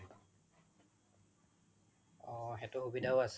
অ সেইতো সুবিধাও আছে